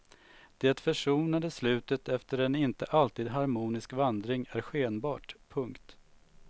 Det försonande slutet efter en inte alltid harmonisk vandring är skenbart. punkt